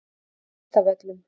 Kvistavöllum